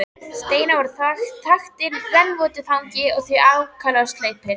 Steinarnir voru þaktir rennvotu þangi og því ákaflega sleipir.